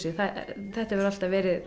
þetta hefur alltaf verið